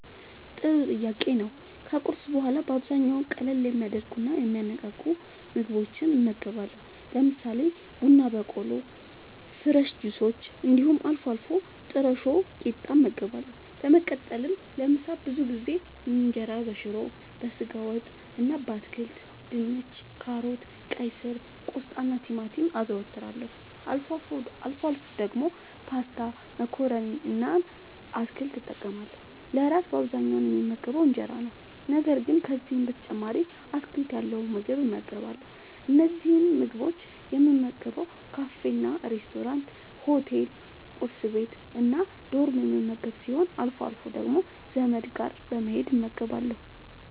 ጥሩ ጥያቄ ነዉ ከቁርስ በኋላ በአብዛኛዉ ቀለል የሚያደርጉና የሚያነቃቁ ምግቦችን እመገባለሁ። ለምሳሌ፦ ቡና በቆሎ፣ ፍረሽ ጁሶች እንዲሁም አልፎ አልፎ ጥረሾ ቂጣ እመገባለሁ። በመቀጠልም ለምሳ ብዙ ጊዜ እንጀራበሽሮ፣ በስጋ ወጥ እና በአትክልት( ድንች፣ ካሮት፣ ቀይስር፣ ቆስጣናቲማቲም) አዘወትራለሁ። አልፎ አልፎ ደግሞ ፓስታ መኮረኒ እና አትክልት እጠቀማለሁ። ለእራት በአብዛኛዉ የምመገበዉ እንጀራ ነዉ። ነገር ግን ከዚህም በተጨማሪ አትክልት ያለዉ ምግብ እመገባለሁ። እነዚህን ምግቦች የምመገበዉ ካፌናሬስቶራንት፣ ሆቴል፣ ቁርስ ቤት፣ እና ዶርም የምመገብ ሲሆን አልፎ አልፎ ደግሞ ዘመድ ጋር በመሄድ እመገባለሁ።